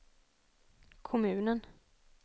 kommunen